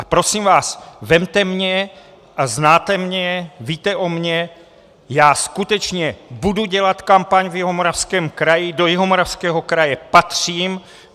A prosím vás, vezměte mě a znáte mě, víte o mně, já skutečně budu dělat kampaň v Jihomoravském kraji, do Jihomoravského kraje patřím.